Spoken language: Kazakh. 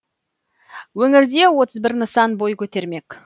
өңірде отыз бір нысан бой көтермек